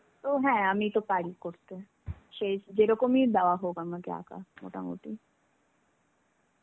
তো হ্যাঁ, আমি তো পারি করতে. সে যেরকমই আমাকে দেওয়া হোক আমাকে আঁকা মোটামুটি.